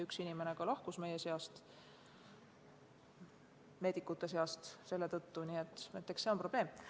Üks inimene meie meedikute seast seetõttu ka lahkus, nii et eks see on probleem.